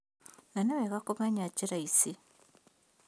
Na nĩwega kũmenya njĩra ici